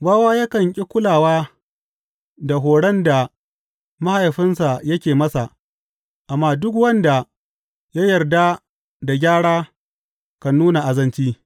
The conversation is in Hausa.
Wawa yakan ƙi kulawa da horon da mahaifinsa yake masa, amma duk wanda ya yarda da gyara kan nuna azanci.